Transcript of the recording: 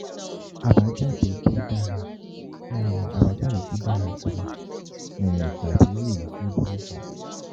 àbájáde tó dára um àbájáde tó dára jùlọ um tàbí èyí tó burú jùlọ